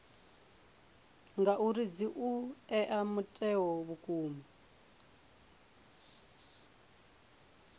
ngauri dzi ea mutheo vhukuma